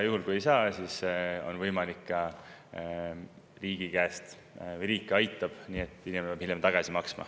Juhul kui ei saa, siis on võimalik, et riik aitab ja inimene peab hiljem tagasi maksma.